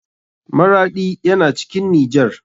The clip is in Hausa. Maraɗi yana cikin nijar.